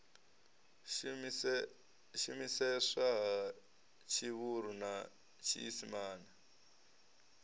shumiseswa ha tshivhuru na tshiisimane